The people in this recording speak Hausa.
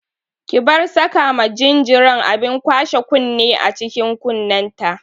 Ki bar saka ma jinjiran abin kwashe kunne a cikin kunnenta!